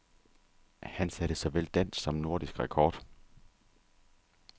Han satte såvel dansk som nordisk rekord.